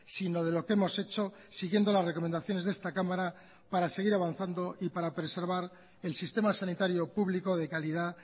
sino de lo que hemos hechos siguiendo las recomendaciones de esta cámara para seguir avanzando y para preservar el sistema sanitario público de calidad